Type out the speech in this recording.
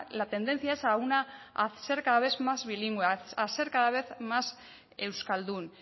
la tendencia es a ser cada vez más bilingüe a ser cada vez más euskaldun